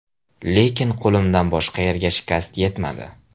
Lekin qo‘limdan boshqa yerga shikast yetmadi”.